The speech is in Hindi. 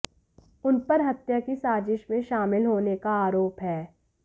उन पर हत्या की साजिश में शामिल होने का आरोप है